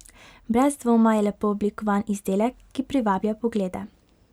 Brez dvoma je lepo oblikovan izdelek, ki privablja poglede.